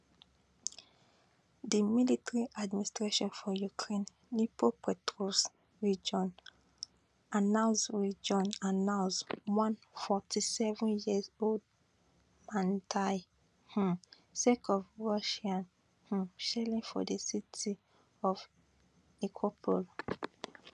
di military administration for ukraine region announce region announce one fourty seven year old man die um sake of russian um shelling for di city of nikopol